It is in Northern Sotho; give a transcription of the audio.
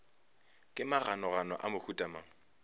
ke maganogano a mohuta mang